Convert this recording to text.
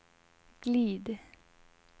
glid